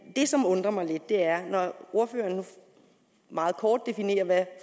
det som undrer mig lidt er at når ordføreren nu meget kort definerer hvad